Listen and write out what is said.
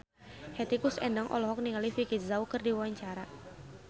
Hetty Koes Endang olohok ningali Vicki Zao keur diwawancara